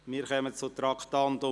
Wir kommen zum Traktandum 2.